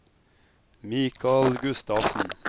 Michael Gustavsen